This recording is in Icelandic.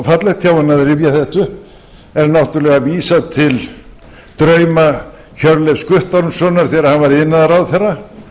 fallegt hjá henni að rifja þetta upp er náttúrulega vísað til drauma hjörleifs guttormssonar þegar hann var iðnaðarráðherra